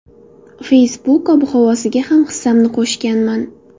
Facebook ob-havosiga ham hissamni qo‘shganman.